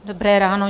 Dobré ráno.